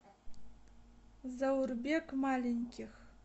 заурбек маленьких